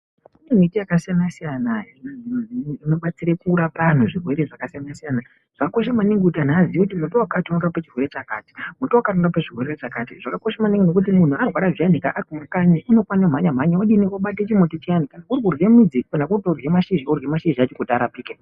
Kune miti yakasiyana-siyana inobatsire kurapa anhu zvirwere zvakasiyana. Zvakakosha maningi kuti anhu aziye kuti muti wakati unorape chirwere chakati, muti wakati unorape chirwere chakati. Zvakakosha maningi ngokuti kana munhu arwara zviyanika ari kumakanyi unofane kumhanya-mhanya odini, obate chimuti chiyani. Kuri kurye midzi, kana kuri kurye mashizha orye mashizha acho kuti arapike.